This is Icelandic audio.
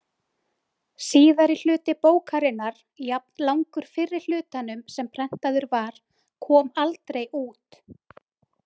Síðari hluti bókarinnar, jafnlangur fyrri hlutanum sem prentaður var, kom aldrei út.